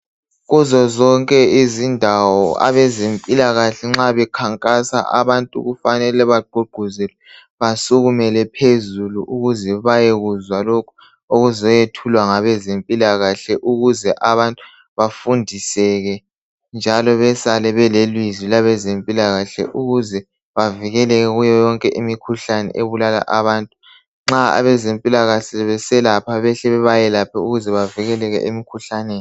Kuzozonke izindawo nxa abezempilakahle nxa bekhankasa abantu kufanele bagqugquzelwe besukumele phezulu ukuze bayekuzwa ukuzoyethulwa ngabezempilakahle ukuze abantu bafundiseke njalo besale belelizwi labezempilakahle ukuze bevikeleke kuyoyonke imkhuhlane ebulala abantu nxa abezempilakahle beselapha behle bebayelaphe ukuze bavikele emkhuhlaneni